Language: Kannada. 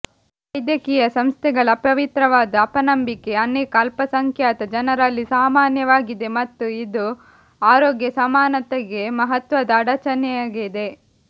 ವೈದ್ಯಕೀಯ ಸಂಸ್ಥೆಗಳ ಅಪವಿತ್ರವಾದ ಅಪನಂಬಿಕೆ ಅನೇಕ ಅಲ್ಪಸಂಖ್ಯಾತ ಜನರಲ್ಲಿ ಸಾಮಾನ್ಯವಾಗಿದೆ ಮತ್ತು ಇದು ಆರೋಗ್ಯ ಸಮಾನತೆಗೆ ಮಹತ್ವದ ಅಡಚಣೆಯಾಗಿದೆ